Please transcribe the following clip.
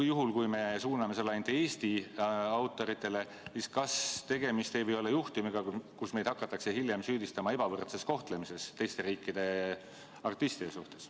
Ja juhul, kui me suuname selle ainult Eesti autoritele, siis kas tegemist ei või olla juhtumiga, kus meid hakatakse hiljem süüdistama teiste riikide artistide ebavõrdses kohtlemises?